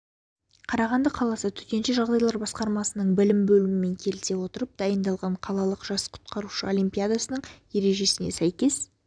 қарағанды қаласы төтенше жағдайлар басқармасының білім бөлімімен келісе отырып дайындаған қалалық жас құтқарушы олимпиадасының ережесіне сәйкес